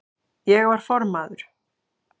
Ég var formaður